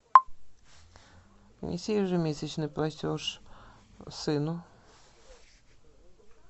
внеси ежемесячный платеж сыну